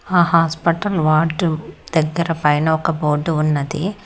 ఆ hospital ward దగ్గర పైన ఒక బోర్డు ఉన్నది.